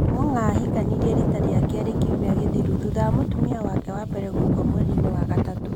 Ong'ong'a ahikanire riita rĩa kerĩ kiumia gĩthiru thutha wa mũtumia wake wa mbere gũkua mweri-inĩ wa gatatũ.